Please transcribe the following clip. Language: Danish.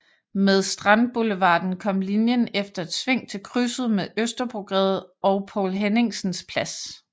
Med Strandboulevarden kom linjen efter et sving til krydset med Østerbrogade ved Poul Henningsens Plads